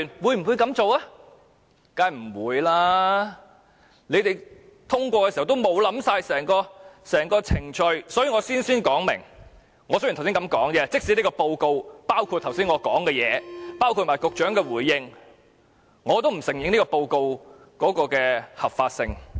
他們通過修改《議事規則》時並無考慮整個程序，所以我事先聲明，即使這份報告包括我剛才的發言，也包括局長的回應，我也不承認這份報告的合法性。